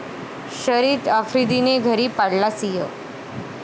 शाहिद आफ्रिदीने घरी पाळला सिंह?